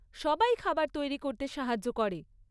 সবাই খাবার তৈরি করতে সাহায্য করে।